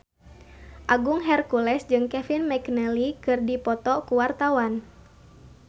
Agung Hercules jeung Kevin McNally keur dipoto ku wartawan